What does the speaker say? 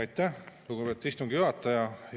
Aitäh, lugupeetud istungi juhataja!